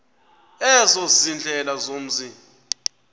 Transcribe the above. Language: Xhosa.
ezo ziindlela zomzi